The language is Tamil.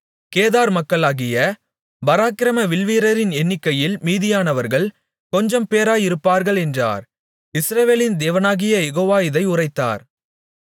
கேதார் மக்களாகிய பராக்கிரம வில்வீரரின் எண்ணிக்கையில் மீதியானவர்கள் கொஞ்சப் பேராயிருப்பார்கள் என்றார் இஸ்ரவேலின் தேவனாகிய யெகோவா இதை உரைத்தார்